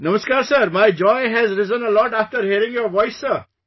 Namaskar sir, my joy has risen a lot after hearing your voice sir